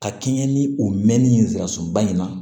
Ka kɛɲɛ ni o mɛnni ye nsirasunba in na